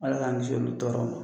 Ala k'an kisi olu tɔɔrɔ ma!